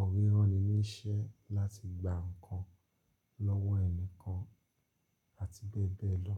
ọ̀rẹ́ ránní níṣẹ́ láti gba nǹkan lọ́wọ́ ẹni kan àti bẹ́ẹ̀ bẹ́ẹ̀ lọ.